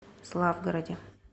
славгороде